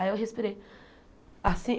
Aí eu respirei. Assim